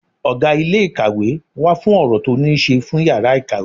Ọgá ilé ìkàwé wà fún ọ̀rọ̀ tó ní ṣe fún yàrá ìkàwé.